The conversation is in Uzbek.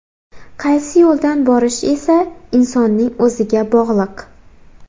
Qaysi yo‘ldan borish esa insonning o‘ziga bog‘liq.